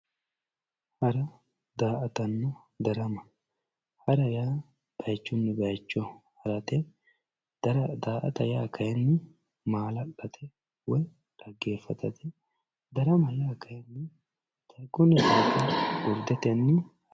hara daa"atanna darama. hara yaa bayiichinni bayiicho harate daa"ata yaa kayiinni maala'late woy dhaggeeffatate darama yaa kayiinni urdetenni